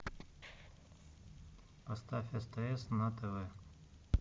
оставь стс на тв